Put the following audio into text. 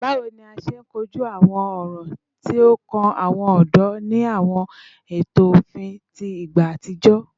Bawo ni a ṣe koju awọn ọran ti o kan awọn ọdọ ni awọn eto ofin ti igba atijọ?